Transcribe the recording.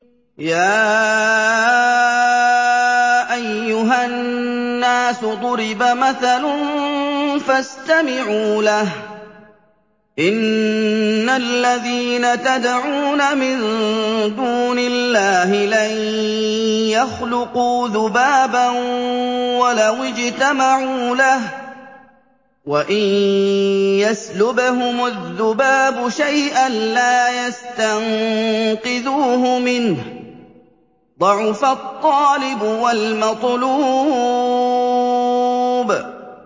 يَا أَيُّهَا النَّاسُ ضُرِبَ مَثَلٌ فَاسْتَمِعُوا لَهُ ۚ إِنَّ الَّذِينَ تَدْعُونَ مِن دُونِ اللَّهِ لَن يَخْلُقُوا ذُبَابًا وَلَوِ اجْتَمَعُوا لَهُ ۖ وَإِن يَسْلُبْهُمُ الذُّبَابُ شَيْئًا لَّا يَسْتَنقِذُوهُ مِنْهُ ۚ ضَعُفَ الطَّالِبُ وَالْمَطْلُوبُ